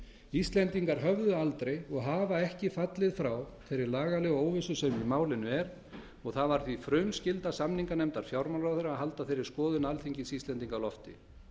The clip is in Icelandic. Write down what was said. íslendingar höfðu aldrei og hafa ekki fallið frá þeirri lagalegu óvissu sem í málinu er og það var því frumskylda samninganefndar fjármálaráðherra að halda þeirri skoðun alþingis íslendinga á lofti